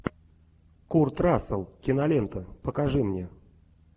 курт рассел кинолента покажи мне